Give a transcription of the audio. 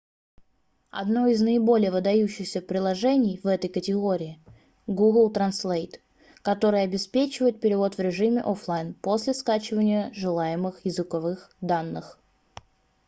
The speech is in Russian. одно из наиболее выдающихся приложений в этой категории google translate которое обеспечивает перевод в режиме офлайн после скачивания желаемых языковых данных